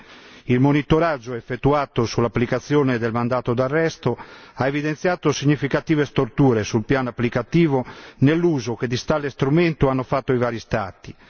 e 6. Il monitoraggio effettuato sull'applicazione del mandato d'arresto ha evidenziato significative storture sul piano applicativo nell'uso che di tale strumento hanno fatto i vari Stati.